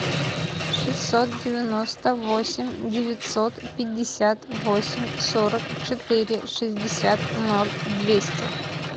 шестьсот девяносто восемь девятьсот пятьдесят восемь сорок четыре шестьдесят ноль двести